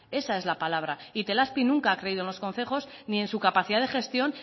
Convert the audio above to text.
itelazpi nunca ha creído en los concejos ni en su capacidad de gestión